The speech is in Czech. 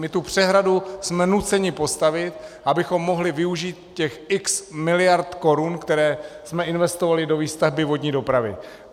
My tu přehradu jsme nuceni postavit, abychom mohli využít těch x miliard korun, které jsme investovali do výstavby vodní dopravy.